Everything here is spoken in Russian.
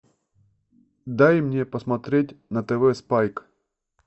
дай мне посмотреть на тв спайк